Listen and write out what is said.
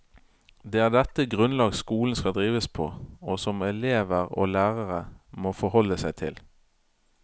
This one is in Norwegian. Det er dette grunnlag skolen skal drives på, og som elever og lærere må forholde seg til.